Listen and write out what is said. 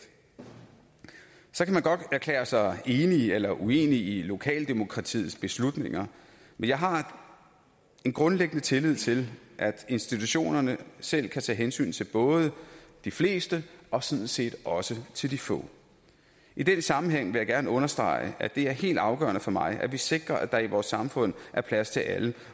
så kan man godt erklære sig enig i eller uenig i lokaldemokratiets beslutninger men jeg har en grundlæggende tillid til at institutionerne selv kan tage hensyn til både de fleste og sådan set også til de få i den sammenhæng vil jeg gerne understrege at det er helt afgørende for mig at vi sikrer at der i vores samfund er plads til alle